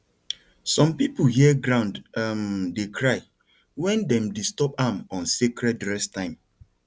some people hear ground um dey cry when dem disturb am on sacred rest time